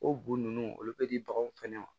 O bu nunnu olu be di baganw fɛnɛ ma